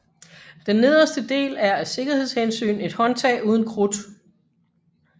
Den nederste del er af sikkerheds hensyn et håndtag uden krudt